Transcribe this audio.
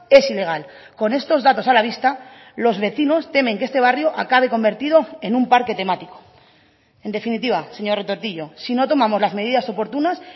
es ilegal con estos datos a la vista los vecinos temen que este barrio acabe convertido en un parque temático en definitiva señor retortillo si no tomamos las medidas oportunas